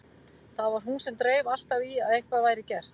Það var hún sem dreif alltaf í að eitthvað væri gert.